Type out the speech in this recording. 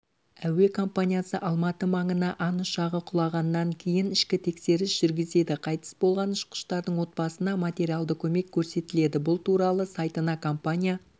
әуекомпаниясы алматы маңына ан ұшағы құлағаннан кейін ішкі тексеріс жүргізеді қайтыс болған ұшқыштардың отбасына материалды көмек көрсетіледі бұл туралы сайтына компания